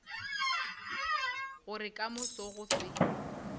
gore ka moso go se